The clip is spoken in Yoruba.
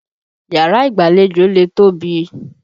Yàrá ìgbàlejò lè tóbi.